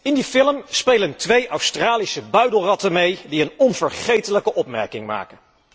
In die film spelen twee Australische buidelratten mee die een onvergetelijke opmerking maken.